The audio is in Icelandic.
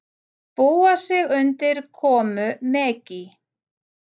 Búa sig undir komu Megi